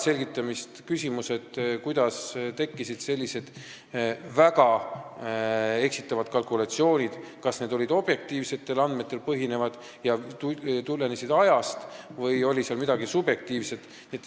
Selgitamist vajavad küsimused, kuidas tekkisid sellised väga eksitavad kalkulatsioonid, kas need põhinesid objektiivsetel andmetel ja tulenesid omast ajast või oli seal midagi subjektiivset.